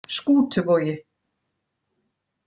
Skútuvogi